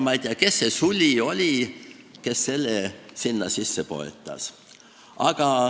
Ma ei tea, kes see suli oli, kes selle sinna sisse poetas.